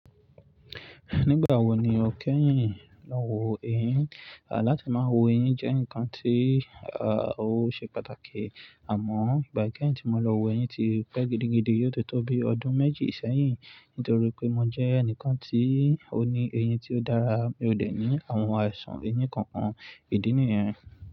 Nígbà wo ni o kẹ́yìn lọ wo eyín? Àláti máa wo eyín jẹ́ nǹkan tí ah ó ṣe pàtàkì. Àmọ́ ìgbà kẹ́yìn tí mo lọ wo eyín ti pẹ́ gidigidi, yóò tó tó bi ọdún méjì sẹ́yìn nítorí pé mo jẹ́ ẹnìkan tí ó ní eyín tí ó dára. Mi ò dẹ̀ ní àwọn àìsàn eyín kankan, ìdí nìyẹn.